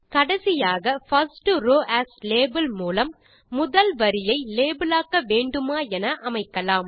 கடைசியாக first row as label மூலம் முதல் வரியை லேபிளாக்க வேண்டுமா என அமைக்கலாம்